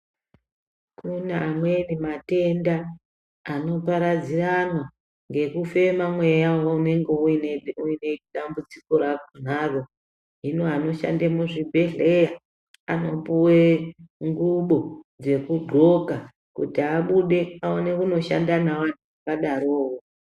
Kune amweni matenda anoparadziranwa ngekufema mweya unenge uine uine dambudziko rakonaro , hino anoshande muzvibhodhlera anopuwe ngubo dzekundxoka kuti abude aone kunoshanda nawo anhu akadarowowo.